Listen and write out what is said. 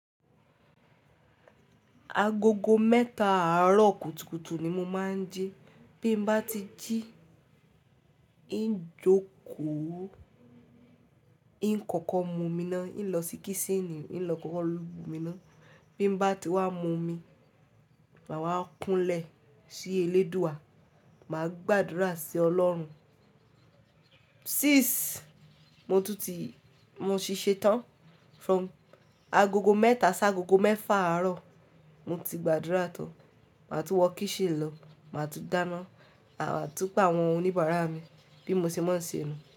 Agogo mẹ́ta àárọ̀ kùtùkùtù ni mo máa ń jí. Bí m bá ti jí, ń jókòó, ń kọ́kọ́ mu omi náà, ń lọ sí kísínì, ń lọ kọ́kọ́ mu omi náà. Bí m bá ti wá mu omi, màá wá kúnlẹ̀ sí eléèdúà, màá gbàdúrà sí Ọlọ́run. Six mo tún ti, mo sì ṣe tán. From agogo mẹ́ta sá agogo mẹ́fà àárọ̀, mo ti gbàdúrà tán. Màá tún wọ kíṣínì lọ, màá tún dáná, màá tún pàwọn oníbàárà mi bí mo se máa ń se nu.